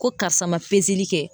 Ko karisa ma li kɛ